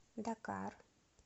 дакар